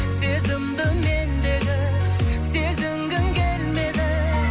сезімді мендегі сезінгің келмеді